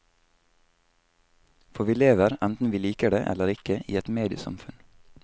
For vi lever, enten vi liker det eller ikke, i et mediesamfunn.